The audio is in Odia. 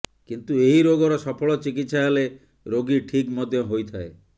କିନ୍ତୁ ଏହି ରୋଗର ସଫଳ ଚିକିତ୍ସା ହେଲେ ରୋଗୀ ଠିକ୍ ମଧ୍ୟ ହୋଇଥାଏ